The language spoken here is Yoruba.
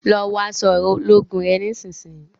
lọ wọ aṣọ ológun rẹ nísìsiyìí!